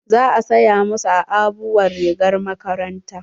Za a saya ma su aabuwar rigar makaranta.